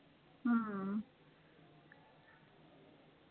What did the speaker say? हा